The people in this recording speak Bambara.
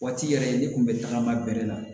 Waati yɛrɛ n'i kun bɛ tagama bɛrɛ na